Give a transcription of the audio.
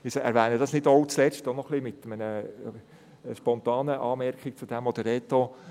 Ich erwähne das nicht auch zuletzt als spontane Anmerkung zur Aussage von Reto.